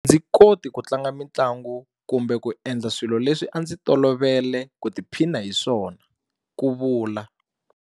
A ndzi koti ku tlanga mitlangu kumbe ku endla swilo leswi a ndzi tolovele ku tiphina hi swona, ku vula.